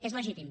és legítim